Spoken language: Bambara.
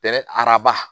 Kɛlɛ araba